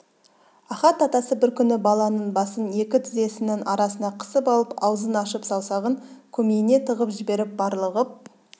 ахат атасы бір күні баланың басын екі тізесінің арасына қысып алып аузын ашып саусағын көмейіне тығып жіберіп барлығып